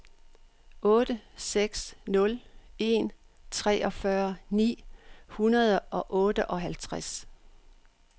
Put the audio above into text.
otte seks nul en treogfyrre ni hundrede og otteoghalvtreds